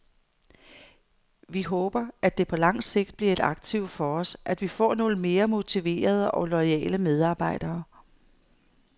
Vi håber, at det på lang sigt bliver et aktiv for os, at vi får nogle mere motiverede og loyale medarbejdere.